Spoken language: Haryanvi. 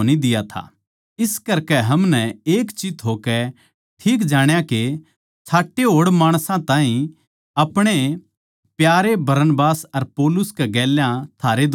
इस करकै हमनै एक चित्त होकै ठीक जाण्या के छांटे होड़ माणसां ताहीं अपणे प्यारे बरनबास अर पौलुस कै गेल्या थारै धोरै भेज्जा